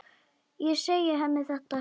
Ég segi henni þetta seinna.